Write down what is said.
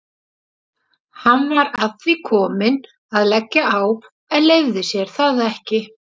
Hann var að því kominn að leggja á en leyfði sér það ekki.